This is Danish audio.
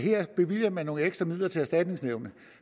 her bevilger nogle ekstra midler til erstatningsnævnet